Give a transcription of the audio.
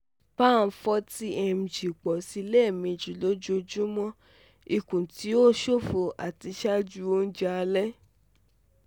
pan forty mg pọ si lẹ́mẹjì lójoojúmọ́ ikun ti o ṣofo ati ṣaaju oúnjẹ alẹ́